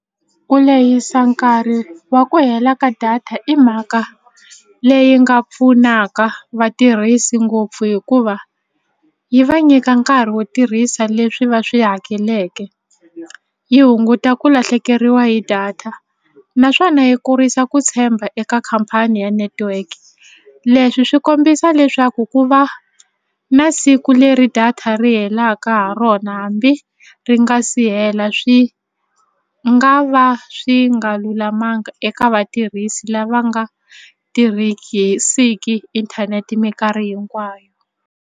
Ku lehisa nkarhi wa ku hela ka data i mhaka leyi nga pfunaka vatirhisi ngopfu hikuva yi va nyika nkarhi wo tirhisa leswi va swi hakeleke yi hunguta ku lahlekeriwa hi data naswona yi kurisa ku tshemba eka khampani ya network leswi swi kombisa leswaku ku va na siku leri data ri helaka ha rona hambi ri nga si hela swi nga va swi nga lulamanga eka vatirhisi lava nga inthanete minkarhi hinkwayo.